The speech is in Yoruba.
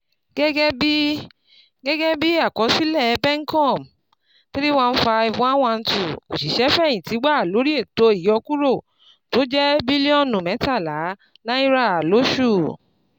Gẹ́gẹ́ bí Gẹ́gẹ́ bí akọsilẹ PenCom, three hundred fifteen thousand one hundred twelve oṣiṣẹ feyinti wà lórí ètò ìyọkúrò tó jẹ́ bílíọ̀nù mẹ́tàlá náírà lóṣù.